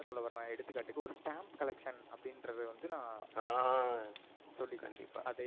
சொல்லி கண்டிப்பா அதை